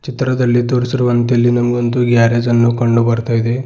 ಚಿತ್ರದಲ್ಲಿ ತೋರಿಸಿರುವಂತೆ ಇಲ್ಲಿ ನಮಗೊಂದು ಗ್ಯಾರೇಜ್ ಅನ್ನು ಕಂಡು ಬರ್ತಾ ಇದೆ.